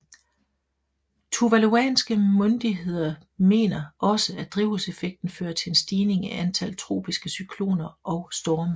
Tuvaluanske myndigheder mener også at drivhuseffekten fører til en stigning i antal tropiske cykloner og storme